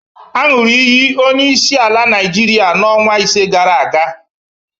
Aṅụrụ iyi onyeisiala Naịjirịa n'ọnwa ise gara aga.